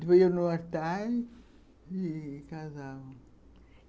Depois iam no altar e casavam.